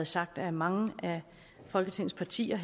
sagt af mange af folketingets partier